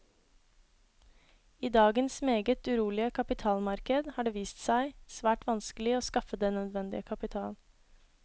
I dagens meget urolige kapitalmarked har det vist seg svært vanskelig å skaffe den nødvendige kapital.